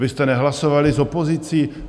Vy jste nehlasovali s opozicí?